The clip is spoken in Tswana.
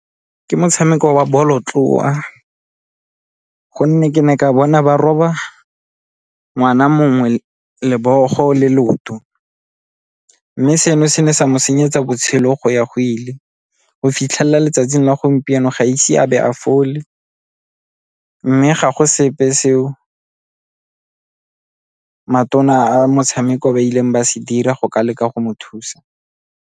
Ke motshameko wa bolotloa, gonne ke ne ka bona ba roba ngwana mongwe lebogo le leoto mme seno se ne sa mo senyetsa botshelo go ya go ile go fitlhelela letsatsing la gompieno ga ise a bo a fole mme ga go sepe seo matona a motshameko ba ileng ba se dira go ka leka go mo thusa.